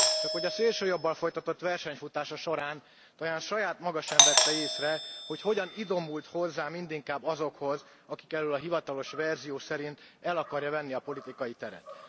Csakhogy a szélsőjobbal történő versenyfutása során talán saját maga sem vette észre, hogy hogyan idomult hozzá mindinkább azokhoz, akik elől a hivatalos verzió szerint el akarja venni a politikai teret.